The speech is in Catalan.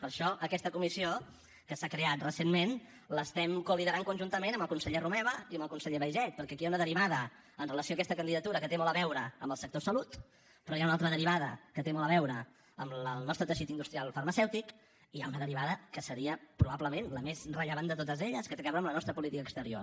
per això aquesta comissió que s’ha creat recentment l’estem coliderant conjuntament amb el conseller romeva i amb el conseller baiget perquè aquí hi ha una derivada amb relació a aquesta candidatura que té molt a veure amb el sector salut però hi ha una altra derivada que té molt a veure amb el nostre teixit industrial farmacèutic i hi ha una derivada que seria probablement la més rellevant de totes elles que té a veure amb la nostra política exterior